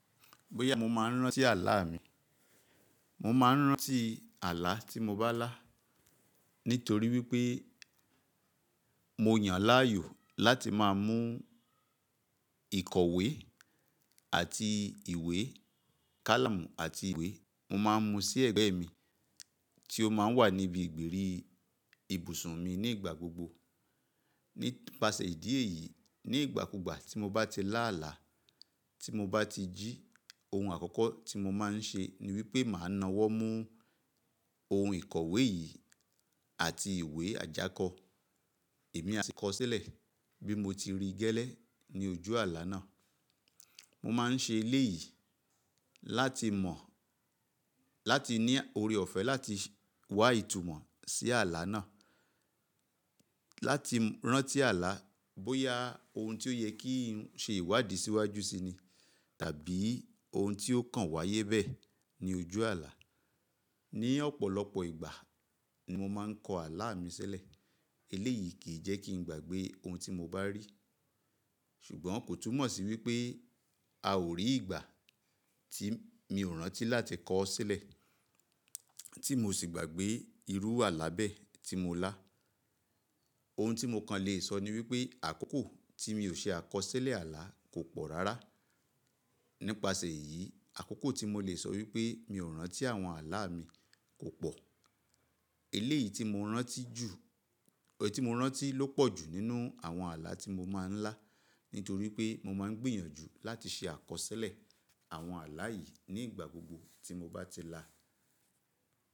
Bóyá mo máa ń rántí alá mi, mo máa ń rántí alá tí mo bá lá nítorí wípé mo yàn láàyò láti máa mú ìikọ̀wé àti ìwé, kálámù àti ìwé, mo máa ń mú sí ẹ̀gbẹ́ mi tí ó máa ń wà níbi ìgbèrí ibùsùn mi ní ìgbà gbogbo. Nípasẹ̀ ìdí èyí, ní ìgbàkúgbà tí mo bá ti lá àlá, tí mo bá ti jí, ohun àkọ́kọ́ tí mo máa ń ṣe ni wípé màá nawọ́ mú ohun ìkọ̀wé yìí àti ìwé ajáko, èmi a sì kọ ọ́ sílẹ̀ bí mo ti rí i gẹ́lẹ́ ní ojú àlá náà. Mo máa ń ṣe eléyìí láti mọ̀, láti ní oore ọ̀fẹ́ láti wá ìtumọ̀ sí àlá náà, láti rántí àlá bóyá ohun tí ó yẹ kí n ṣe ìwádìí síwájú síi ni tàbí ohun tí ó kàn wáyé bẹ́ẹ̀ ní ojú àlá. Ní ọ̀pọ̀lọpọ̀ ìgbà ni mo máa ń kọ àlá mi sílẹ̀. Eléyìí kì í jẹ́ kí n gbàgbé ohun tí mo bá rí, ṣùgbọ́n kò túmọ̀ sí wípé a ò rí ìgbà tí mi ò rántí láti kọ ọ́ sílẹ̀ tí mo sì gbàgbé irú àlá bẹ́ẹ̀ tí mo lá. Ohun tí mo kàn lè sọ ni wípé àkókò tí mi ò ṣe àkọsílẹ̀ àlá kò pọ̀ rárá. Nípasẹ̀ èyí, àkókò tí mo lè sọ wípé mi ò rántí àwọn àlá mi kò pọ̀. Eléyìí tí mo rántí jù, èyí tí mo rántí ló pọ̀jù nínú àwọn àlá tí mo máa ń lá nítorí pé mo máa ń gbìyànjú láti ṣe àkọsílẹ̀ àwọn àlá yìí ní ìgbà gbogbo tí mo bá ti lá.